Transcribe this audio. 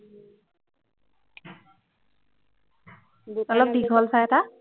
অলপ দীঘল চাই এটা